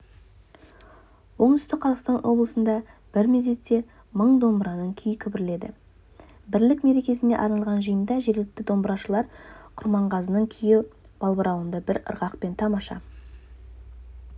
оңтүстік қазақстан облысында бір мезетте мың домбырашының күйі күмбірледі бірлік мерекесіне арналған жиында жергілікті домбырашылар құрмағазының күйі балбырауынды бір ырғақпен тамаша